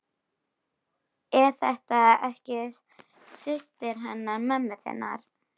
Er þetta ekki systir hennar mömmu þinnar?